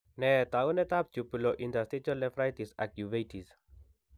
Nee taakunetaab Tubolointerstitial nephritis ak uveitis?